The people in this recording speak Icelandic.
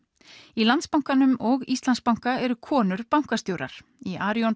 í Landsbankanum og Íslandsbanka eru konur bankastjórar í Arion